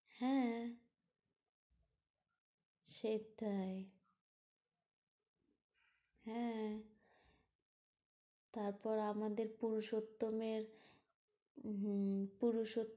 হ্যাঁ সেটাই হ্যাঁ তারপর আমাদের পুরুষোত্তমের হম পুরুষোত্তম